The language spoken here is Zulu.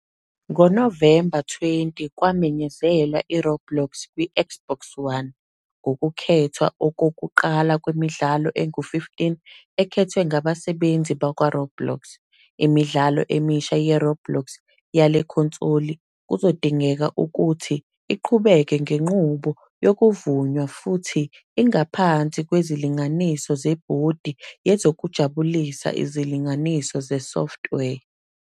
NgoNovemba 20, kwamenyezelwa iRoblox kwiXbox One, ngokukhethwa okokuqala kwemidlalo engu-15 ekhethwe ngabasebenzi bakwaRoblox. Imidlalo emisha yeRoblox yale khonsoli kuzodingeka ukuthi iqhubeke ngenqubo yokuvunywa futhi ingaphansi kwezindinganiso zeBhodi Yezokujabulisa Izilinganiso Zesoftware.